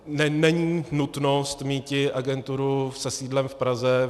Není nutnost míti agenturu se sídlem v Praze.